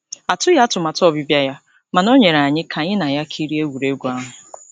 Atụghị atụmatụ ọbịbịa ya, mana ọ nọnyeere anyị ka anyị na ya kirie egwuregwu ahụ.